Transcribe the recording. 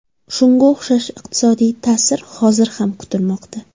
Shunga o‘xshash iqtisodiy ta’sir hozir ham kutilmoqda.